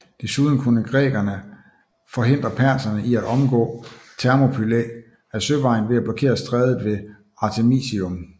Desuden kunne grækerne forhindre perserne i at omgå Thermopylæ ad søvejen ved at blokere strædet ved Artemisium